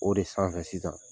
O de sanfɛ sisan